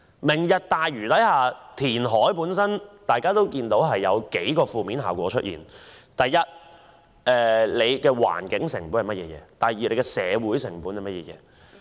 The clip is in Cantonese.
"明日大嶼"填海會有數個負面效果：第一，環境成本；第二，社會成本。